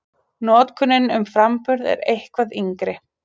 Notkunin um framburð er eitthvað yngri.